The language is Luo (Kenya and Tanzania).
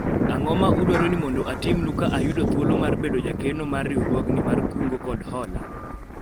ang'o ma udwaro ni mondo atimnu ka ayudo thuolo mar bedo jakeno mar riwruogni mar kungo kod hola ?